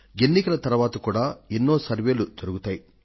ఎన్నికల తరువాత కూడా ఎన్నో సర్వేక్షణలు జరుగుతాయి